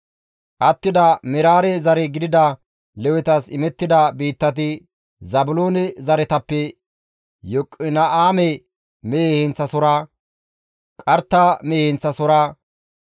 Attida Meraare zare gidida Lewetas imettida biittati Zaabiloone zaretappe Yoqina7aame mehe heenththasohora, Qarta mehe heenththasohora,